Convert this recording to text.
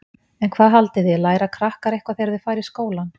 En hvað haldið þið, læra krakkar eitthvað þegar þau fara í skólann?